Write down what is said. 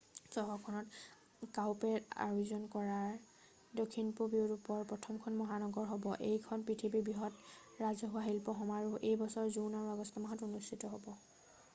চহৰখন কাউপেৰেড আয়োজন কৰা দক্ষিণপূৱ ইউৰোপৰ প্ৰথমখখন মহানগৰ হ'ব এইখন পৃথিৱীৰ বৃহত্তম ৰাজহুৱা শিল্প সমাৰোহ এই বছৰৰ জুন আৰু আগষ্ট মাহৰ মাজত অনুষ্ঠিত হ'ব